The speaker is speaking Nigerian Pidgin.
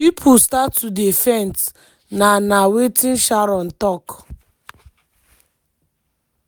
pipo start to dey faint" na na wetin sharon tok.